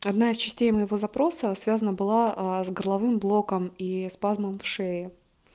одна из частей моего запроса связана была с горловым блоком и спазм в шее